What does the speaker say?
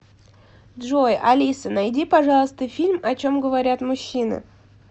джой алиса найди пожалуйста фильм о чем говорят мужчины